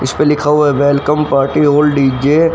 इस पे लिखा हुआ है वेलकम पार्टी ऑल डी_जे --